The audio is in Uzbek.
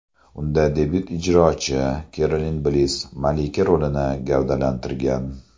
Unda debyut ijrochi Kerolin Bliss malika rolini gavdalantirgan.